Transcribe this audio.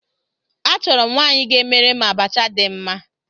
Achọrọ m nwaanyị ga-emere m abacha dị mma